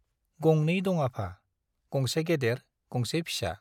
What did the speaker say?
गंनै दं आफा , गंसे गेदेर , गंसे फिसा ।